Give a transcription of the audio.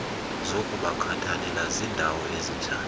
zokubakhathalela zindawo ezinjani